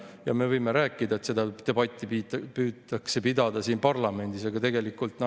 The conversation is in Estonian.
Teiseks see, et Eestis, nii nagu hea eelkõneleja mainis, maksavad tulumaksu kõik 19,9% kanti, kes natuke vähem 20%-st ja kes täpselt 20.